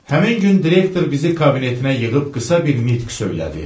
Həmin gün direktor bizi kabinetinə yığıb qısa bir nitq söylədi.